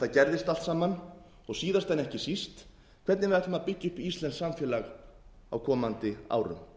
gerðist allt saman og síðast en ekki síst hvernig við ætlum að byggja upp íslenskt samfélag á komandi árum